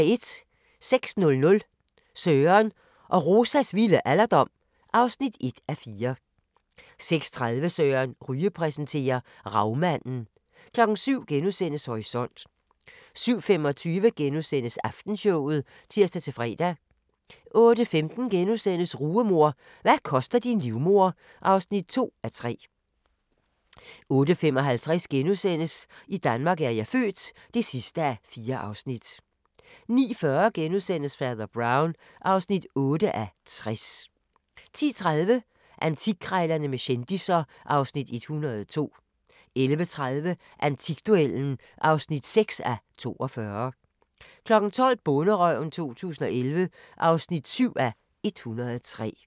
06:00: Søren og Rosas vilde alderdom (1:4) 06:30: Søren Ryge præsenterer: Ravmanden 07:00: Horisont * 07:25: Aftenshowet *(tir-fre) 08:15: Rugemor – hvad koster din livmoder? (2:3)* 08:55: I Danmark er jeg født (4:4)* 09:40: Fader Brown (8:60)* 10:30: Antikkrejlerne med kendisser (Afs. 102) 11:30: Antikduellen (6:42) 12:00: Bonderøven 2011 (7:103)